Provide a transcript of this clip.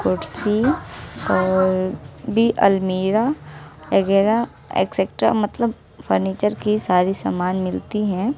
कुर्सी और भी अलमीरा वगैरह एक्सेटरा मतलब फर्नीचर की सारी सामान मिलती हैं।